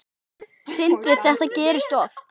Sindri: Þetta gerist oft?